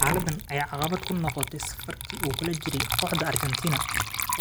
Xaaladdan ayaa caqabad ku noqotay safarkii uu kula jiray kooxda Argentina,